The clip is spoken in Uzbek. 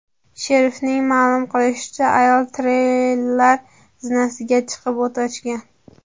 Sherifning ma’lum qilishicha, ayol treyler zinasiga chiqib, o‘t ochgan.